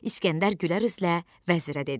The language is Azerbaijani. İsgəndər gülər üzlə vəzirə dedi: